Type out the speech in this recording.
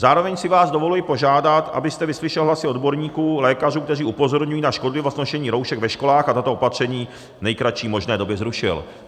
Zároveň si vás dovoluji požádat, abyste vyslyšel hlasy odborníků, lékařů, kteří upozorňují na škodlivost nošení roušek ve školách, a tato opatření v nejkratší možné době zrušil."